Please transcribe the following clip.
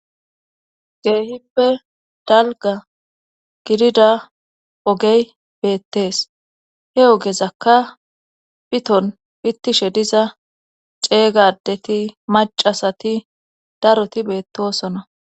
Keehippe dalga gidida ogey beettees he ogezakka piton pittishe diza ceega adeti macasati daroti beettosona